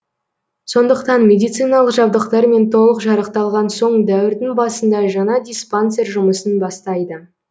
сондықтан медициналық жабдықтармен толық жарақталған соң дәуірдің басында жаңа диспансер жұмысын бастайды